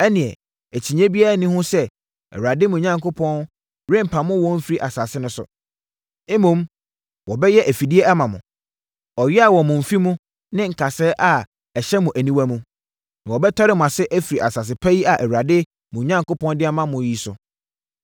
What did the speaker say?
ɛnneɛ akyinnyeɛ biara nni ho sɛ Awurade, mo Onyankopɔn rempamo wɔn mfiri mo asase so. Mmom, wɔbɛyɛ afidie ama mo, ɔyea wɔ mo mfe mu ne kasɛɛ a ɛhyɛ mo aniwa mu, na wɔbɛtɔre mo ase afiri asase pa yi a Awurade, mo Onyankopɔn de ama mo yi so.